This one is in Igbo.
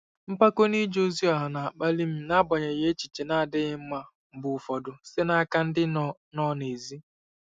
Mpako n'ije ozi ọha na-akpali m n'agbanyeghị echiche na-adịghị mma mgbe ụfọdụ site n'aka ndị nọ nọ n'èzí.